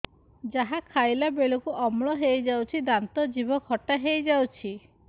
ଯାହା ଖାଇଲା ବେଳକୁ ଅମ୍ଳ ହେଇଯାଉଛି ଦାନ୍ତ ଜିଭ ଖଟା ହେଇଯାଉଛି